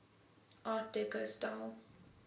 art deco style